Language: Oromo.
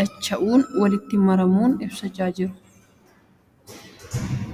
dacha'uun, walitti marmuun ibsaa jiru. Kun yeroo galchanis ta'uu ni danda'a.